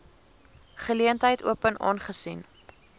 geleentheid open aangesien